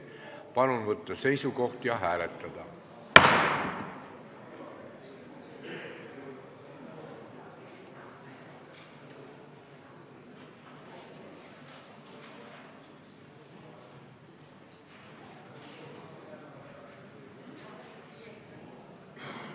Palun võtta seisukoht ja hääletada!